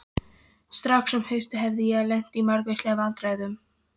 Strax um haustið hafði ég lent í margvíslegum vandræðum.